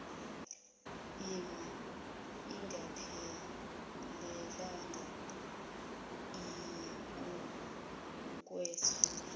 ima ingaphelelanga ukwesula